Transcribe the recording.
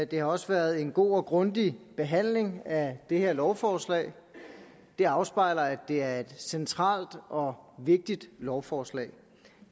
det har også været en god og grundig behandling af det her lovforslag det afspejler at det er et centralt og vigtigt lovforslag